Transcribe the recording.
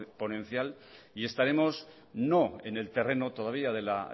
exponencial y estaremos no en el terreno todavía de la